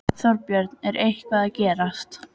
Þorbjörn: Er eitthvað að gerast?